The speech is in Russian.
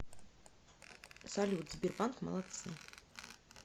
салют сбербанк молодцы